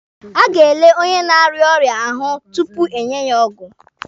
A ga-ele onye na-arịa ọrịa ahụ tupu enye ya ọgwụ.